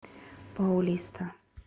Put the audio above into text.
паулиста